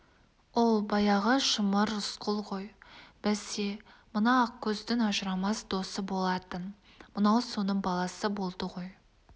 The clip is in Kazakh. оу баяғы шымыр рысқұл той бәсе мына ақкөздің ажырамас досы болатын мынау соның баласы болды ғой